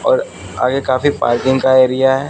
और आगे काफी पार्किंग का एरिया है।